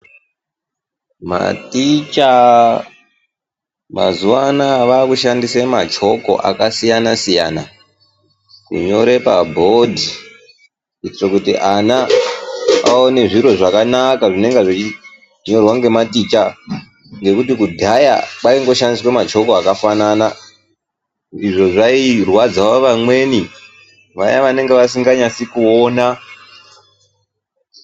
Maticha mazuwaanaya vaakushandisa machoko akasiyana siyana kunyore pabhodhi kuitire kuti ana aone zviro zvakanaka zvinenge zveinyorwa nematicha ngekuti kudhaya kwaingoshandiswa machoko akafanana izvo zvairwadzao vamweni vaya vanenge vasinganyatsi kuona.